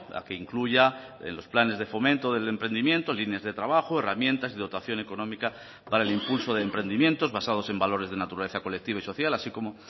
a que incluya en los planes de fomento del emprendimiento líneas de trabajo herramientas de dotación económica para el impulso de emprendimientos basados en valores de naturaleza colectiva y social así como